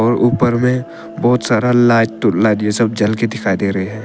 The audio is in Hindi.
ऊपर में बहुत सारा लाइट टू लाइट ये सब जल के दिखाई दे रहे हैं।